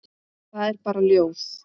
Það er bara ljóð.